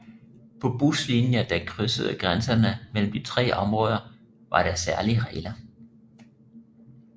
På buslinjer der krydsede grænserne mellem de tre områder var der særlige regler